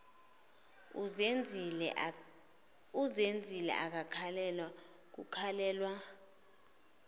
uzenzile akakhalelwa kukhalelwa